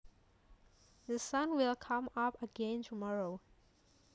The sun will come up again tomorrow